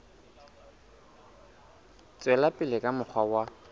tswela pele ka mokgwa wa